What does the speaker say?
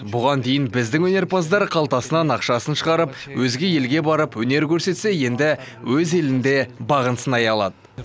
бұған дейін біздің өнерпаздар қалтасынан ақшасын шығарып өзге елге барып өнер көрсетсе енді өз елінде бағын сынай алады